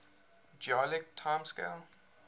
geologic time scale